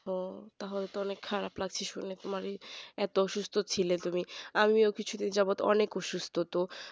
ও তাহলে তো অনেক খারাপ লাগছে শুনে তোমার এই এত শরীর সুস্থ ছিলে তুমি আমিও কিছুদিন যাক যেমন অনেক অসুস্থ ছিলাম তো